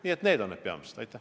Nii et need on peamised mõtted.